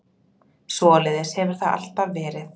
Svoleiðis hefur það alltaf verið.